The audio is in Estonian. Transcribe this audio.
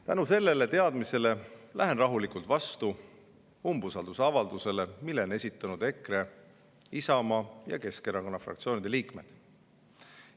Tänu sellele teadmisele lähen rahulikult vastu umbusaldusavaldusele, mille on esitanud EKRE, Isamaa ja Keskerakonna fraktsiooni liikmed.